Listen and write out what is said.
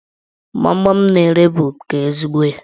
Gbamgbam m na-ere bụ nke ezigbo ya.